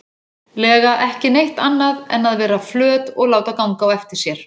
lega ekki neitt annað en að vera flöt og láta ganga á sér.